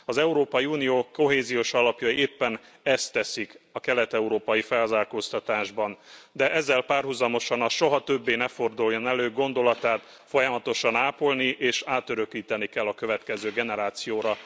Az Európai Unió Kohéziós Alapjai éppen ezt teszik a kelet európai felzárkóztatásban, de ezzel párhuzamosan a soha többé ne forduljon elő gondolatát folyamatosan ápolni és átörökíteni kell a következő generációra.